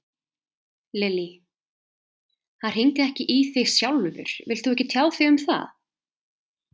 Lillý: Hann hringdi ekki í þig sjálfur, vilt þú ekki tjá þig um það?